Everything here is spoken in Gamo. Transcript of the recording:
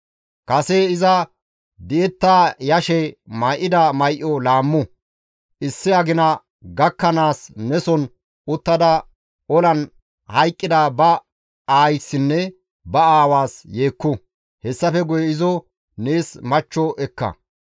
Kase iza di7etta yashe may7ida may7o laammu; issi agina gakkanaas neson uttada olan hayqqida ba aayssinne ba aawaas yeekku; hessafe guye izo nees machcho ekka.